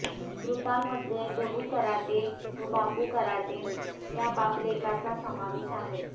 मृतांमध्ये दगू कराटे व बापू कराटे या बापलेकाचा समावेश आहे